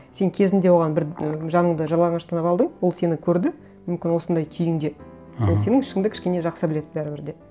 сен кезінде оған бір ы жаныңды жалаңаштап алдың ол сені көрді мүмкін осындай күйіңде аха ол сенің ішіңді кішкене жақсы біледі бәрібір де